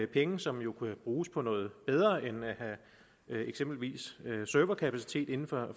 penge som jo kunne bruges på noget bedre end eksempelvis serverkapacitet inden for